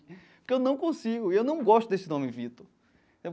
Porque eu não consigo e eu não gosto desse nome Vitor.